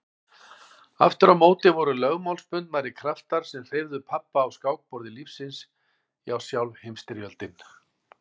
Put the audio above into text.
Aftur á móti voru lögmálsbundnari kraftar sem hreyfðu pabba á skákborði lífsins já sjálf Heimsstyrjöldin.